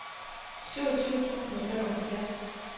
syvogtyve tusind og femoghalvfjerds